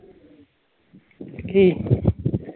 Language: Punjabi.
ਕੀ?